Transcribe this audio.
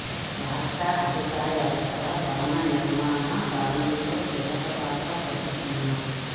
రాష్ట్ర ఆర్థిక వ్యవస్థలో భవన నిర్మాణ కార్మికులు కీలక పాత్ర పోషిస్తున్నారు